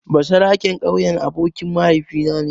Basaraken ƙauyen abokin mahaifina ne.